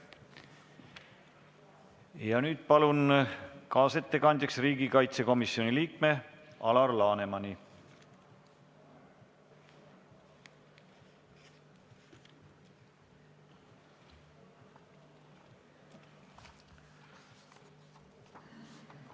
Nüüd palun kaasettekandjaks riigikaitsekomisjoni liikme Alar Lanemani!